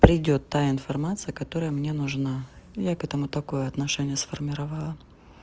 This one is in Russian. придёт та информация которая мне нужна я к этому такое отношение сформировала